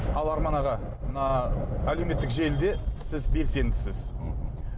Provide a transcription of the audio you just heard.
ал арман аға мына әлеуметтік желіде сіз белсендісіз мхм